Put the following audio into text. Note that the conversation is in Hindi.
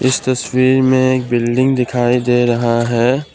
इस तस्वीर में बिल्डिंग दिखाई दे रहा है।